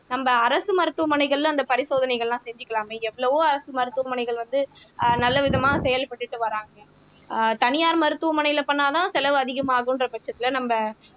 நம்ம அரசு மருத்துவமனைகள்ல அந்த பரிசோதனைகள் எல்லாம் செஞ்சுக்கலாமே எவ்ளவோ அரசு மருத்துவமனைகள் வந்து ஆஹ் நல்ல விதமா செயல்பட்டுட்டு வர்றாங்க ஆஹ் தனியார் மருத்துவமனையில பண்ணாதான் செலவு அதிகமாகுன்ற பட்சத்துல நம்ம